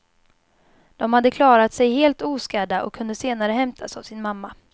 De hade klarat sig helt oskadda och kunde senare hämtas av sin mamma.